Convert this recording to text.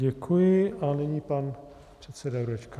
Děkuji a nyní pan předseda Jurečka.